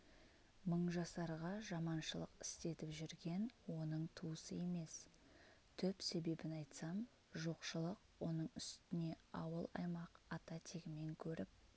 мыңжасарға жаманшылық істетіп жүрген оның туысы емес түп себебін айтсам жоқшылык оның үстіне ауыл-аймақ ата-тегімен көріп